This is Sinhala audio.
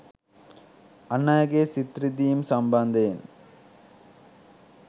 අන් අයගේ සිත් රිදීම් සම්බන්ධයෙන්